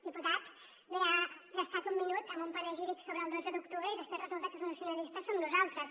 diputat bé ha gastat un minut amb un panegíric sobre el dotze d’octubre i després resulta que els nacionalistes som nosaltres